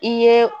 I ye